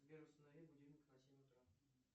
сбер установи будильник на семь утра